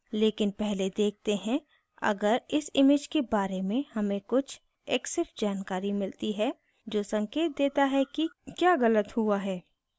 लेकिन पहले देखते हैं अगर इस image के बारे में हमें कुछ exif जानकारी मिलती है जो संकेत देता है कि क्या गलत हुआ है